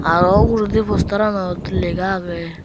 aro ugredi posteranot lega agey.